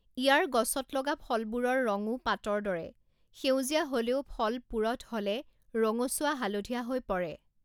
ইয়াৰ গছত লগা ফলবোৰৰ ৰঙো পাতৰ দৰে সেউজীয়া হ লেও ফল পূৰঠ হ লে ৰঙচুৱা হালধীয়া হৈ পৰে।